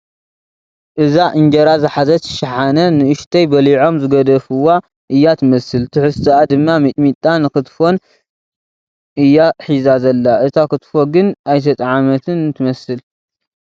እዛ እንጀራ ዝሓዘት ሸሓነ ንኡሽተይ በሊዖም ዝገደፍዋ እያ ትመስል ትሕዝቶኣ ድማ ሚጥሚጣ ን ክትፎን እያ ሒዛ ዘላ እታ ኽትፎ ግን ኣይተጠዓመትን ትመስል ።